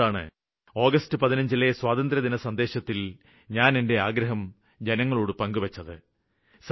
അതുകൊണ്ടാണ് ആഗസ്റ്റ് 15ലെ സ്വാതന്ത്ര്യദിന സന്ദേശത്തില് ഞാന് എന്റെ ആഗ്രഹം ജനങ്ങളോട് പങ്കുവെച്ചത്